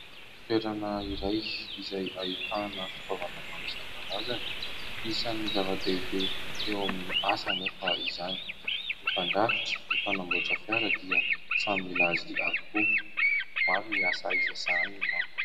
Toerana iray izay ahitana fitaovana maro isankarazany isany zava-dehibe eo amin'ny asa anefa izany. Ny mpandrafitra, ny mpanamboatra fiara dia samy mila azy avokoa. Maro ny asa izay sahaniny no manko.